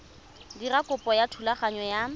dira kopo ya thulaganyo ya